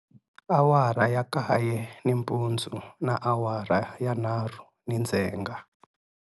Awara ya kaye nimpundzu na awara ya nharhu nindzhenga.